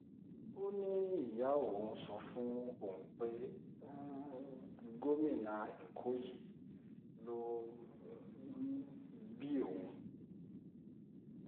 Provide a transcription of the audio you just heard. ó ní ìyá òun sọ fóun pé um gómìnà èkó yìí ló um bí òun